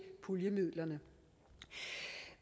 puljemidlerne